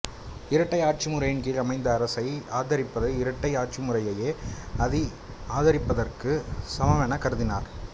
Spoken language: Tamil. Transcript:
இரட்டை ஆட்சிமுறையின்கீழ் அமைந்த அரசை ஆதரிப்பது இரட்டை ஆட்சிமுறையையே ஆதரிப்பதற்குச் சமமெனக் கருதினார்